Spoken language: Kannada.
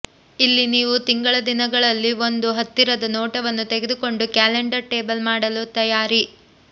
ಇಲ್ಲಿ ನೀವು ತಿಂಗಳ ದಿನಗಳಲ್ಲಿ ಒಂದು ಹತ್ತಿರದ ನೋಟವನ್ನು ತೆಗೆದುಕೊಂಡು ಕ್ಯಾಲೆಂಡರ್ ಟೇಬಲ್ ಮಾಡಲು ತಯಾರಿ